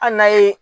Hali n'a ye